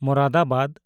Moradabad